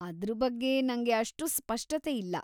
ಅದ್ರ ಬಗ್ಗೆ ನಂಗೆ ಅಷ್ಟು ಸ್ಪಷ್ಟತೆ ಇಲ್ಲಾ.